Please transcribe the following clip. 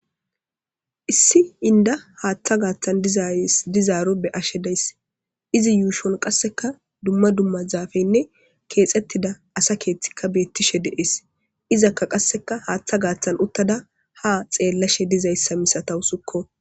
Issi inda haaththa gaaththan dizays dizaaro be ashe dayss izi yuushon qasseka dumma dumma zaafeynne keexettida asa keeththikka beettishe deees izakka qasseka haaththa gaaththan uttada ha xeellashe dizayssa misatawu sukko.